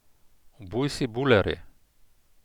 Obuj si bulerje.